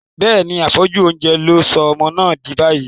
Bẹ́ẹ̀ni, àfẹ́jù oúnjẹ ló sọ ọmọ náà dì báyìí.